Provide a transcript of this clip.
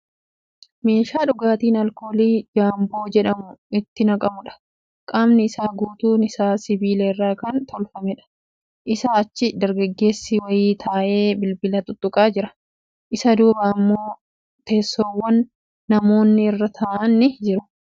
Meeshaa dhugaatiin alkoolii jaamboo jedhamu itti naqamuudha. Qaamni isaa guutuun isaa sibiila irraa kan tolfameedha. Isaa achi dargaggeessi wayii taa'ee bilbila xixxuqaa jira . Isa duuba immoo teessoowwam namoinni irra taa'an ni jiru.